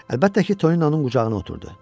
Əlbəttə ki, Toninonun qucağına oturdu.